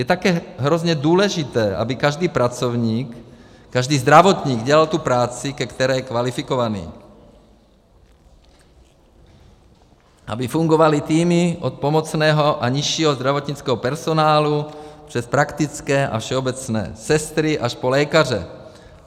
Je také hrozně důležité, aby každý pracovník, každý zdravotník dělal tu práci, ke které je kvalifikovaný, aby fungovaly týmy od pomocného a nižšího zdravotnického personálu přes praktické a všeobecné sestry až po lékaře.